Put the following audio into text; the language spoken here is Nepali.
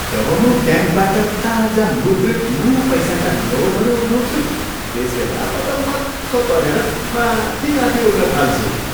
जब म ब्याङ्कबाट ताजा मुद्रित नयाँ पैसाका नोटहरू उठाउँछु त्यसबेल म त मख्ख परेर माथि माथि उड्न थाल्छु।